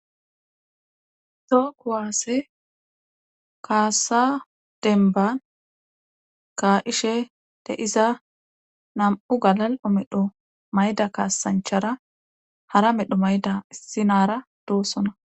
too kuwaasse kaasa denban kaa'ishe de iza nam'u galal'o medho mayda kaasanchara hara medho mayda issi nara doossona